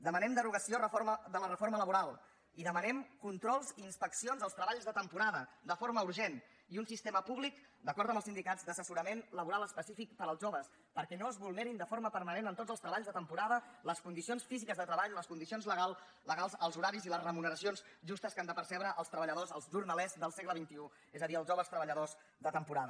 demanem derogació de la reforma laboral i demanem controls i inspeccions als treballs de temporada de forma urgent i un sistema públic d’acord amb els sindicats d’assessorament laboral específic per als joves perquè no es vulnerin de forma permanent en tots els treballs de temporada les condicions físiques de treball les condicions legals els horaris i les remuneracions justes que han de percebre els treballadors els jornalers del segle xxi és a dir els joves treballadors de temporada